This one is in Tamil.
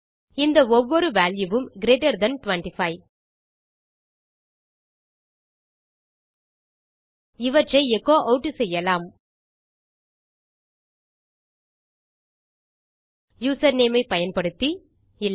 இந்த ஒவ்வொரு வால்யூ வும் கிரீட்டர் தன் 25 இவற்றை எச்சோ ஆட் செய்வோம் யூசர்நேம் ஐ பயன்படுத்தி அல்லது